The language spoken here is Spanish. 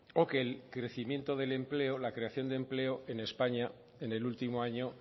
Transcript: o que el crecimiento del empleo la creación de empleo en españa en el último año